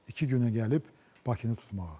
İki günə gəlib Bakını tutmağa.